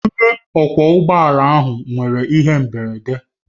Onye ọkwọ ụgbọ ala ahụ nwere ihe mberede